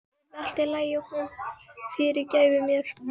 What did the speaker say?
Nú yrði allt í lagi og hún fyrirgæfi mér.